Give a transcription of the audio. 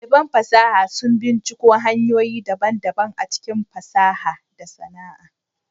Daliban fasaha sun binciko hanyoyi daban-daban a cikin fasaha da sana'a.